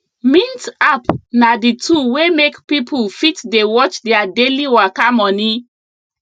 mint app na the tool wey make pipo fit dey watch their daily waka money